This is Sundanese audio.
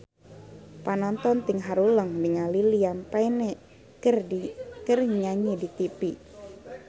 Panonton ting haruleng ningali Liam Payne keur nyanyi di tipi